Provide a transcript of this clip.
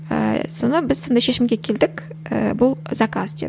ы соны біз сондай шешімге келдік ііі бұл заказ деп